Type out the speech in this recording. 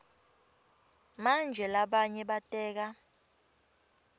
manje labanye bateka